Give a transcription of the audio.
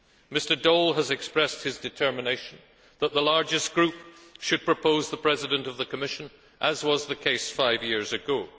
Mr Daul has expressed his determination that the largest group should propose the President of the Commission, as was the case five years ago.